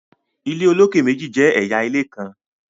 ilé olokè méjì jẹ ẹyà ilé nkán